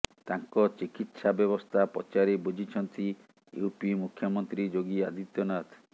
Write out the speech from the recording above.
ତାଙ୍କ ଚିକିତ୍ସା ବ୍ୟବସ୍ଥା ପଚାରି ବୁଝିଛନ୍ତି ୟୁପି ମୁଖ୍ୟମନ୍ତ୍ରୀ ଯୋଗୀ ଆଦିତ୍ୟନାଥ